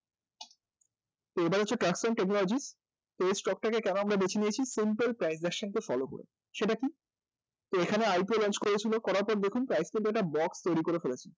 তো এবার হচ্ছে এই stock টা কে কেন আমরা বেছে নিয়েছি, simple price deduction কে follow করে সেটা কি এখানে IPO launch করেছিল করাতে দেখুন একটা box তৈরি করে ফেলেছে